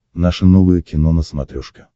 наше новое кино на смотрешке